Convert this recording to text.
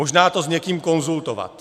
Možná to s někým konzultovat.